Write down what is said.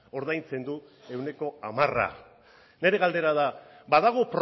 ordaintzen du ehuneko hamara nere galdera da badago